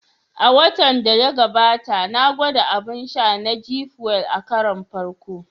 A watan da ya gabata, na gwada abun sha na "G Fuel" a karon farko